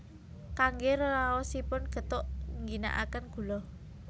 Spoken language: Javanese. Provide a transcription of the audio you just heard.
Kangge raosipun gethuk ngginakaken gula